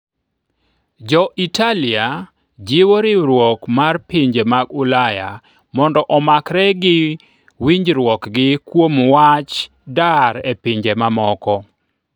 Jo - Italia jiwo riwruok mar pinje mag Ulaya mondo omakre gi winjruokgi kuom wach dar e pinje mamoko